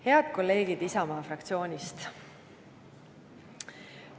Head kolleegid Isamaa fraktsioonist!